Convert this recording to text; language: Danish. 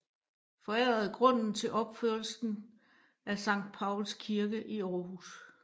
Forærede grunden til opførelsen af Sankt Pauls Kirke i Aarhus